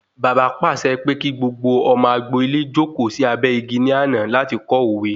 Bàbá pàṣẹ pé kí gbogbo ọmọ agbo-ilé jókòó sí abẹ́ igi ní àná láti kọ́ òwe